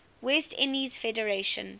west indies federation